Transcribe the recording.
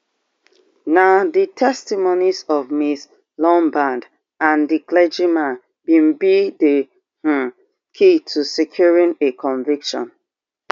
na di testimonies of ms lombard and di clergyman be be di um key to securing a conviction